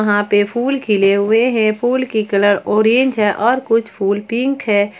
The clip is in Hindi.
यहां पे फूल खिले हुए हैं फूल की कलर ऑरेंज है और कुछ फुल पिंक है।